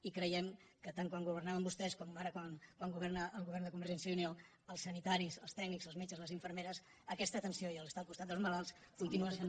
i creiem que tant quan governaven vostès com ara quan governa el govern de convergència i unió els sanitaris els tècnics els metges les infermeres aquesta atenció i estar al costat dels malalts continua sent